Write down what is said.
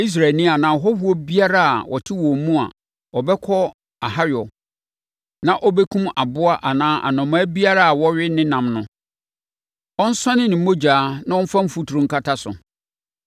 “ ‘Israelni anaa ɔhɔhoɔ biara a ɔte wɔn mu a ɔbɛkɔ ahayɔ na ɔbɛkum aboa anaa anomaa biara a wɔwe ne nam no, ɔnsɔne ne mogya na ɔmfa mfuturo nkata so,